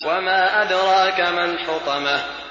وَمَا أَدْرَاكَ مَا الْحُطَمَةُ